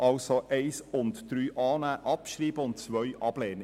Ziffern 1 und 3 annehmen und abschreiben, und Ziffer 2 ablehnen.